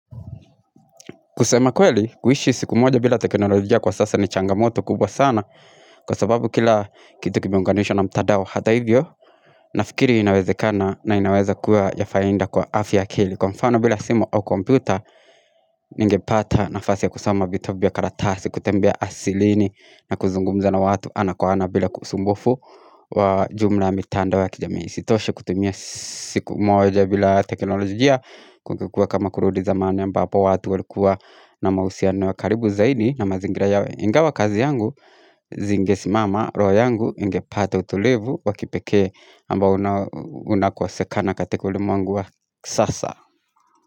Kusema kweli, kuishi siku moja bila teknolojia kwa sasa ni changamoto kubwa sana Kwa sababu kila kitu kimeiunganishwa na mtadao hata hivyo Nafikiri inawezekana na inaweza kuwa ya fainda kwa afya akili Kwa mfano bila simu au komputer Ningepata nafasi ya kusoma vitabu karatasi kutembea asilini na kuzungumza na watu ana kwa ana bila usumbufu wa jumla ya mitandao wa kijamii isitoshe kutumia siku moja bila teknolojia kulikua kama kurudi zamani ambapo watu walikuwa na mausiano ya karibu zaidi na mazingira yawe ingawa kazi yangu, zingesimama, roho yangu, ingepata utulivu, wa kipeke ambao unakosekana katika ulimwengu wa sasa.